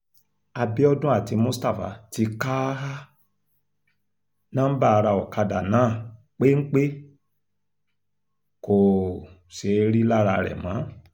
àbíọdún àti mustapha ti ka um nọ́ńbà ará ọ̀kadà náà péńpé kò um ṣeé rí i lára rẹ̀ mọ́